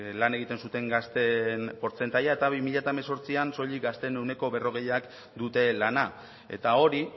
lan egiten zuten gazteen portzentajea eta bi mila hemezortzian soilik gazteen ehuneko berrogeiak dute lana eta hori